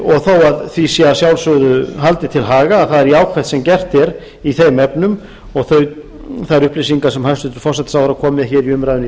og þó því sé að sjálfsögðu haldið til haga að það er jákvætt sem gert er í þeim efnum og þær upplýsingar sem hæstvirtur forsætisráðherra kom með hér í umræðuna í